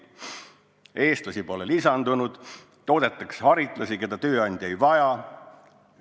Eestlasi pole lisandunud, toodetakse haritlasi, keda tööandja ei vaja.